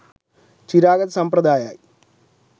චිරාගත සම්ප්‍රදායයි